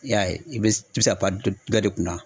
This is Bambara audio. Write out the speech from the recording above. I y'a ye i be i be se ka pan dɔ dɔ de kunna